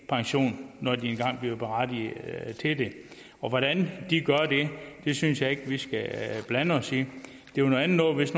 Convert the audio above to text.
pension når de engang bliver berettiget til det og hvordan de gør det synes jeg ikke vi skal blande os i det var noget andet hvis